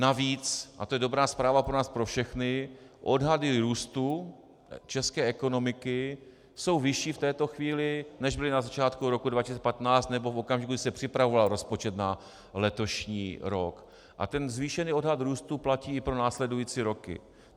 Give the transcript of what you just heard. Navíc, a to je dobrá zpráva pro nás pro všechny, odhady růstu české ekonomiky jsou vyšší v této chvíli, než byly na začátku roku 2015 nebo v okamžiku, kdy se připravoval rozpočet na letošní rok, a ten zvýšený odhad růstu platí i pro následující roky.